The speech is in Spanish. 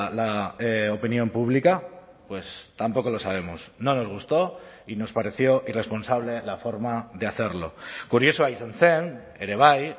la opinión pública tampoco lo sabemos no nos gustó y nos pareció irresponsable la forma de hacerlo kuriosoa izan zen ere bai